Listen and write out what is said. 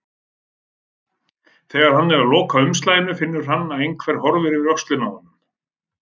Þegar hann er að loka umslaginu finnur hann að einhver horfir yfir öxlina á honum.